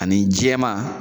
Ani jɛma